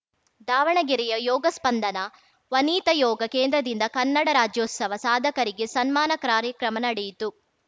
ದಾವಣಗೆರೆಯ ಯೋಗ ಸ್ಪಂದನ ವನಿತಾ ಯೋಗ ಕೇಂದ್ರದಿಂದ ಕನ್ನಡ ರಾಜ್ಯೋತ್ಸವ ಸಾಧಕರಿಗೆ ಸನ್ಮಾನ ಕ್ರಾರ್ಯಕ್ರಮ ನಡೆಯಿತು